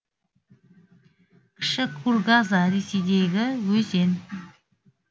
кіші кургаза ресейдегі өзен